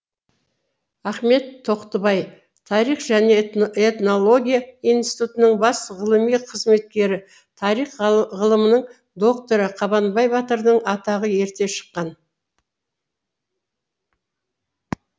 ахмет тоқтыбаи тарих және этнология институтының бас ғылыми қызметкері тарих ғылымының докторы қабанбай батырдың атағы ерте шыққан